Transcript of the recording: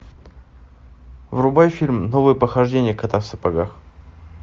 врубай фильм новые похождения кота в сапогах